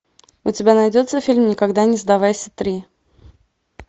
у тебя найдется фильм никогда не сдавайся три